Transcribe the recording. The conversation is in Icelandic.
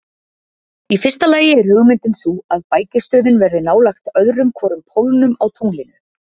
Í fyrsta lagi er hugmyndin sú að bækistöðin verði nálægt öðrum hvorum pólnum á tunglinu.